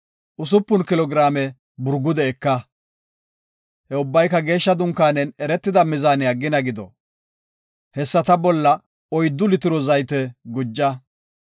usupun kilo giraame burgude eka. He ubbayka geeshsha dunkaanen eretida mizaaniya gina gido. Hessata bolla oyddu litiro zayte guja.